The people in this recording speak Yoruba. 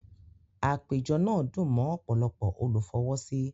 Àpéjọ náà dùn mọ́ ọ̀pọ̀lọpọ̀ olùfọwọ́sí